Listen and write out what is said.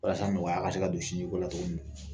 Walasa nɔgɔya ka se ka don sinjiko la cogo min na